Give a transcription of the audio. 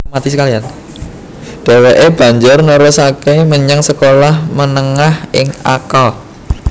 Dheweke banjur nerusake menyang sekolah menengah ing Akka